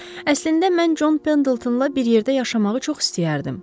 Əslində mən Jon Pendletonla bir yerdə yaşamağı çox istəyərdim.